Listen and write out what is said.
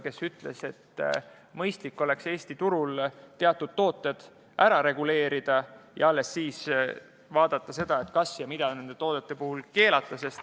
Ta ütles, et mõistlik oleks Eesti turul teatud toodetesse puutuv ära reguleerida ja alles siis vaadata, mida ja kas üldse nende toodete puhul keelata.